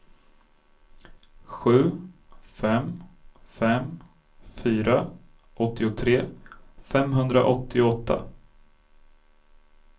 sju fem fem fyra åttiotre femhundraåttioåtta